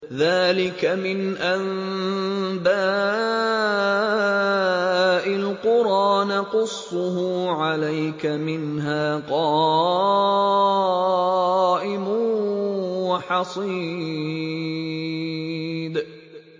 ذَٰلِكَ مِنْ أَنبَاءِ الْقُرَىٰ نَقُصُّهُ عَلَيْكَ ۖ مِنْهَا قَائِمٌ وَحَصِيدٌ